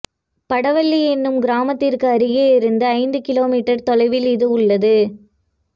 படவள்ளி எனும் கிராமத்திற்கு அருகே இருந்து ஐந்து கிமீ தொலைவில் இது உள்ளது